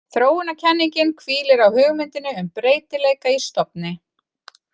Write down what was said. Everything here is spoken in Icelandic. Þróunarkenningin hvílir á hugmyndinni um breytileika í stofni.